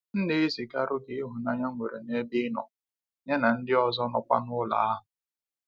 M na ezi ga rụgị ịhụnanya nnwere n'ebe inọ, ya na ndị ọzọ nọ kwa n'ụlọ ahụ.